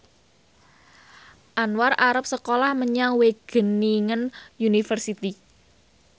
Anwar arep sekolah menyang Wageningen University